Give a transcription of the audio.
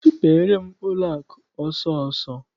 Sụpeere m ụlọakụ ọsọọsọ!